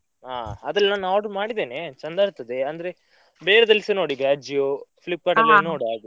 ಹಾ ಅದ್ರಲ್ ನಾನ್ order ಮಾಡಿದೇನೆ ಚಂದ ಬರ್ತದೆ, ಅಂದ್ರೆ ಬೇರೆದಲಿಸಾ ನೋಡು ಈಗ Ajio, Flipkart ಅಲ್ಲಿ ನೋಡು ಹಾಗೆ.